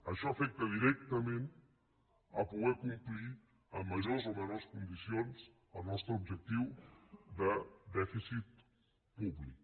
això afecta directament poder complir amb majors o menors condicions el nostre objectiu de dèfi cit públic